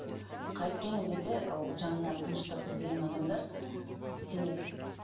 қайткен күнде де ол жанына тыныштық іздеген адамдар сенеді